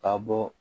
Ka bɔ